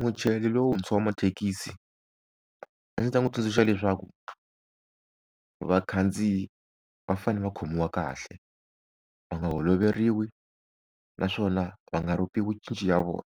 Muchayeri lontshwa wa mathekisi a ndzi ta n'wi tsundzuxa leswaku vakhandziyi va fanele va khomiwa kahle va nga holoveriwi naswona va nga ropiwi cinci ya vona